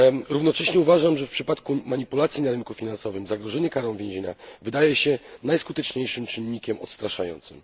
Równocześnie uważam, że w przypadku manipulacji na rynku finansowym zagrożenie karą więzienia wydaje się najskuteczniejszym czynnikiem odstraszającym.